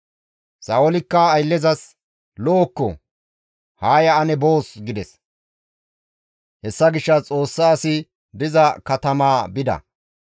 Sa7oolikka ayllezas, «Lo7okko! Haa ya ane boos» gides. Hessa gishshas Xoossa asi diza katamaa bida.